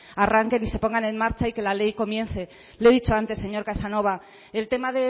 arranquen y se pongan en marcha y que la ley comience le he dicho antes señor casanova el tema